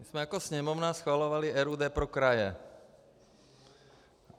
My jsme jako Sněmovna schvalovali RUD pro kraje.